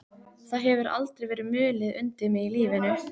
Það hefur aldrei verið mulið undir mig í lífinu.